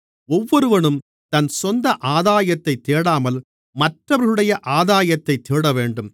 ஒவ்வொருவனும் தன் சொந்த ஆதாயத்தைத் தேடாமல் மற்றவர்களுடைய ஆதாயத்தைத் தேடவேண்டும்